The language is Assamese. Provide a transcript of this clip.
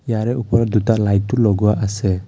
ইয়াৰে ওপৰত দুটা লাইট ও লগোৱা আছে।